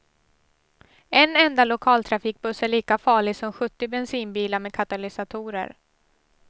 En enda lokaltrafikbuss är lika farlig som sjuttio bensinbilar med katalysatorer.